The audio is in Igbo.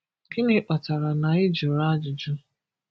Gịnị kpatara na i jụrụ ajụjụ?